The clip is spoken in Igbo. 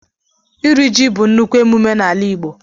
Iri ji bú nnukwu emume na ala Igbo